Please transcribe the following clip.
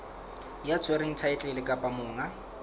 ya tshwereng thaetlele kapa monga